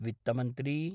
वित्तमन्त्री